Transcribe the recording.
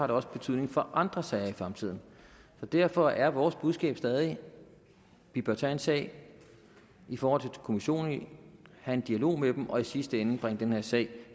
det også betydning for andre sager i fremtiden derfor er vores budskab stadig at vi bør tage en sag i forhold til kommissionen have en dialog med dem og i sidste ende indbringe den her sag